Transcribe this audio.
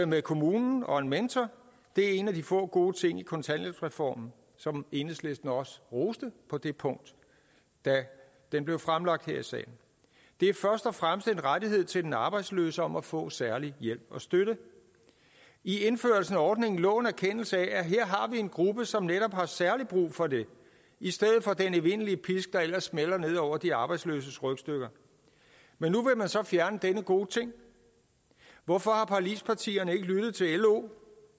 med kommunen og en mentor det er en af de få gode ting i kontanthjælpsreformen som enhedslisten også roste på det punkt da den blev fremlagt her i salen det er først og fremmest en rettighed til den arbejdsløse om at få særlig hjælp og støtte i indførelsen af ordningen lå en erkendelse af at her har vi en gruppe som netop har særlig brug for det i stedet for den evindelige pisk der ellers smælder ned over de arbejdsløses rygstykker men nu vil man så fjerne denne gode ting hvorfor har forligspartierne ikke lyttet til lo